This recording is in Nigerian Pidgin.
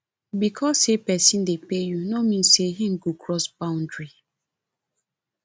because say persin de pay you no mean say im go cross boundary